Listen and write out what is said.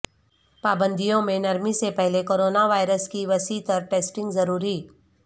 پابندیوں میں نرمی سے پہلے کرونا وائرس کی وسیع تر ٹیسٹنگ ضروری